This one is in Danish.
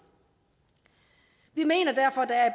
vi mener derfor der er